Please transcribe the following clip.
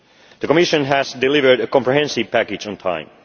capital. The Commission has delivered a comprehensive package